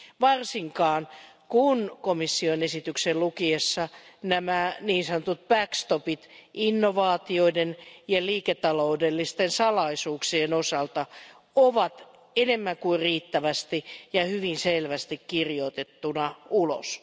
Varsinkaan kun komission esityksen lukiessa nämä niin sanotut backstopit innovaatioiden ja liiketaloudellisten salaisuuksien osalta ovat enemmän kuin riittävästi ja hyvin selvästi kirjoitettuna ulos.